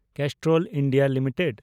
Castrol India limited